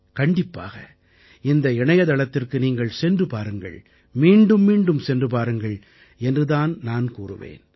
கண்டிப்பாக இந்த இணையத்தளத்திற்கு நீங்கள் சென்று பாருங்கள் மீண்டும் மீண்டும் சென்று பாருங்கள் என்று தான் நான் கூறுவேன்